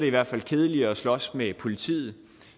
i hvert fald kedeligere at slås med politiet